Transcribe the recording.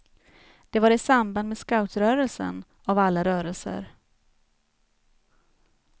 Det var i samband med scoutrörelsen, av alla rörelser.